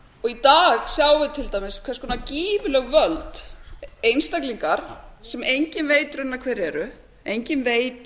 dag sjáum við til dæmis hvers konar gífurleg völd einstaklingar sem enginn veit reyndar hverjir eru enginn veit